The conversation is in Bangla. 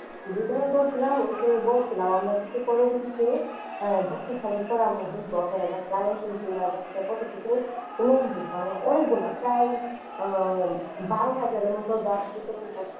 বিতরণ করছিলাম ওই সময় বলেছিলাম আমরা কিন্তু পরবর্তীতে আহ বছর খানিক পরে আমরা দেখবো আপনারা গাছটা লাগাইছেন কিনা গাছটা কতটুকু উন্নত হয়েছে আমরা অনেকগুলো প্রায় আহ বারো হাজারের মতো গাছ বিতরণ করছি।